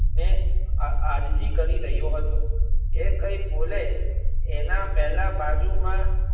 ને આ આજીજી કરી રહ્યો હતો એ કઈ બોલે એના પહેલા બાજુમાં.